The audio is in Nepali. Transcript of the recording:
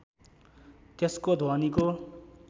त्यसको ध्वनिको